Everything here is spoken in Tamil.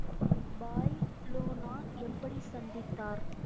பாய் லோனா எப்படி சந்தித்தார்?